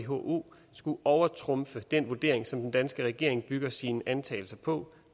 who skulle overtrumfe den vurdering som den danske regering bygger sine antagelser på